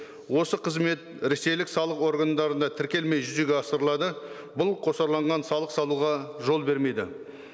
осы қызмет ресейлік салық органдарына тіркелмей жүзеге асырылады бұл қосарланған салық салуға жол бермейді